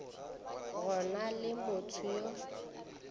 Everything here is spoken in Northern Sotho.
go na le motho yo